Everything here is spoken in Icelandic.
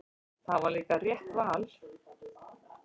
Það var líka rétt val.